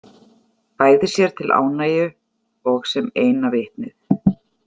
Bæði sér til ánægju og sem eina vitnið.